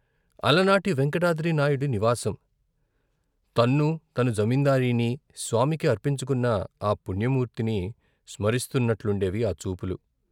అలనాటి వేంకటాద్రినాయుడి నివాసం. తన్నూ, తన జమీందారీని స్వామికి అర్పించుకున్న ఆ పుణ్యమూర్తిని స్మరిస్తున్న ట్లుండేవి ఆ చూపులు.